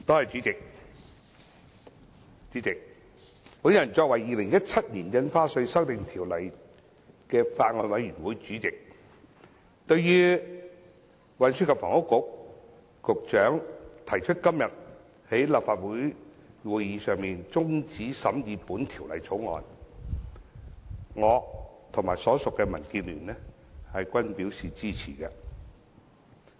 主席，我作為《2017年印花稅條例草案》的法案委員會主席，對於運輸及房屋局局長在今天的立法會會議上提出中止審議《條例草案》，我和所屬的民建聯均表示支持。